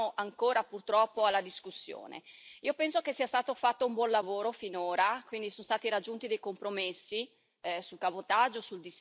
Io penso che sia stato fatto un buon lavoro finora sono stati raggiunti dei compromessi sul cabotaggio, sul distacco, sui tempi di guida e di riposo.